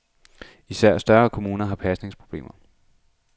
Især større kommuner har pasningsproblemer.